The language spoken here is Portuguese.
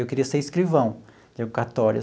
Eu queria ser escrivão de cartório.